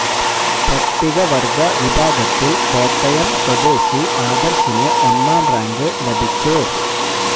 പട്ടിക വര്ഗ വിഭാഗത്തില് കോട്ടയം സ്വദേശി ആദര്ശിന് ഒന്നാം റാങ്ക് ലഭിച്ചു